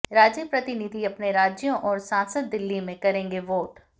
राज्य प्रतिनिधि अपने राज्यों और सांसद दिल्ली में करेंगे वोट